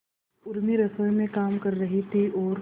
उर्मी रसोई में काम कर रही थी और